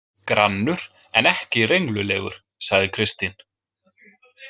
Grannur en ekki renglulegur, sagði Kristín.